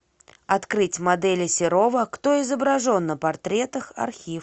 открыть модели серова кто изображен на портретах архив